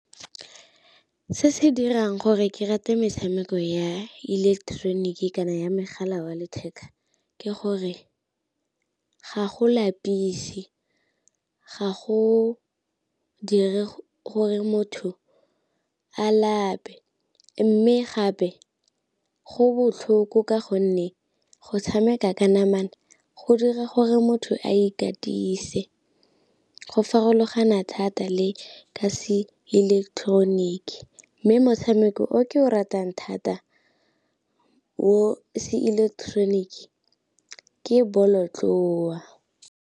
Se se dirang gore ke rate metshameko ya ileketeroniki kana ya mogala wa letheka ke gore ga go lapise, ga go dire gore motho a lape, mme gape go botlhoko ka gonne go tshameka ka namana go dira gore motho a ikatise, go farologana thata le ka se ileketeroniki. Mme motshameko o ke o ratang thata o se ileketeroniki ke bolotloa.